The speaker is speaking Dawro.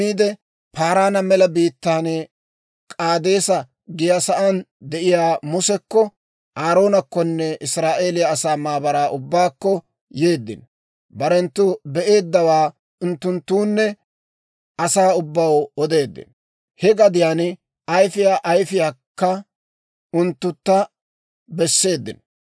Paaraana Mela Biittaan K'aadeesa giyaa saan de'iyaa Musekko, Aaroonekkonne Israa'eeliyaa asaa maabaraa ubbaakko yeeddino. Barenttu be'eeddawaa unttunttoonne asaa ubbaw odeeddino; he gadiyaan ayifiyaa ayfiyaakka unttuntta besseeddino.